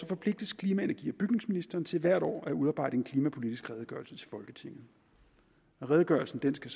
forpligtes klima energi og bygningsministeren til hvert år at udarbejde en klimapolitisk redegørelse til folketinget redegørelsen skal